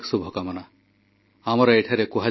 ସ୍ୱଚ୍ଛ ସିଆଚୀନ ଅଭିଯାନ ପାଇଁ ସାହସୀ ଯବାନଙ୍କୁ ପ୍ରଶଂସା